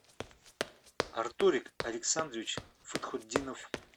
артурик александрович фатхутдинов